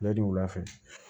Ladi wula fɛ